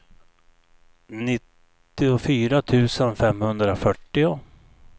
nittiofyra tusen femhundrafyrtio